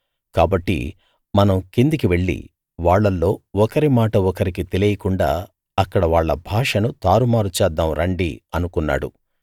కాబట్టి మనం కిందికి వెళ్లి వాళ్ళల్లో ఒకరి మాట ఒకరికి తెలియకుండా అక్కడ వాళ్ళ భాషను తారుమారు చేద్దాం రండి అనుకున్నాడు